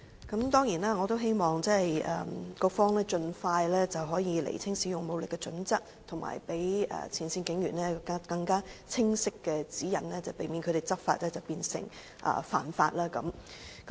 我當然希望局方盡快釐清使用武力的準則，以及給予前線警員更清晰的指引，避免他們執法變成犯法。